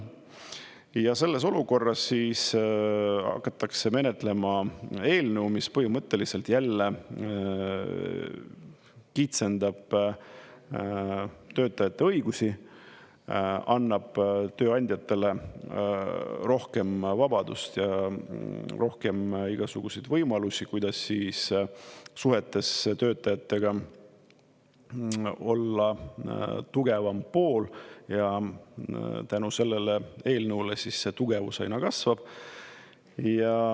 Ja selles olukorras siis hakatakse menetlema eelnõu, mis põhimõtteliselt jälle kitsendab töötajate õigusi, annab tööandjatele rohkem vabadust ja rohkem igasuguseid võimalusi, kuidas suhetes töötajatega olla tugevam pool, ja tänu sellele eelnõule siis see tugevus aina kasvab.